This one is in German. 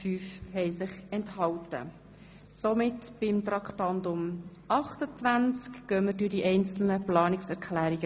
– Wir kommen nun zu Traktandum 28, Geschäft 2017.RRGR.102 und befinden über die einzelnen Planungserklärungen.